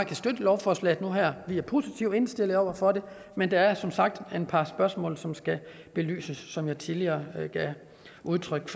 kan støtte lovforslaget nu her vi er positivt indstillet over for det men der er som sagt et par spørgsmål som skal belyses altså som jeg tidligere har givet udtryk